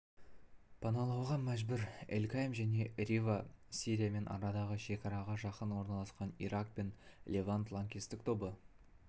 паналауға мәжбүр эль-кайм және рава сириямен арадағы шекараға жақын орналасқан ирак пен левант лаңкестік тобы